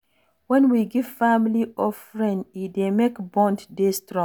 When we give family or friend e dey make bond dey strong